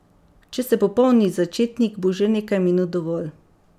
Če ste popoln začetnik, bo že nekaj minut dovolj.